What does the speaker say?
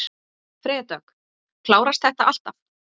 Freyja Dögg: Klárast þetta alltaf?